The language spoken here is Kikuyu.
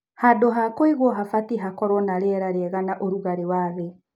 Handũ hakũigũo habatiĩ hakorwo na rĩera rĩega.na ũrugarĩ wathĩ.